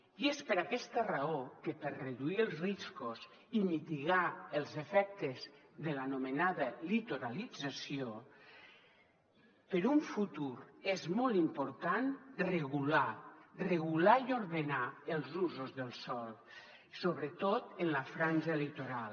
i és per aquesta raó que per reduir els riscos i mitigar els efectes de l’anomenada litoralització per a un futur és molt important regular regular i ordenar els usos del sòl sobretot en la franja litoral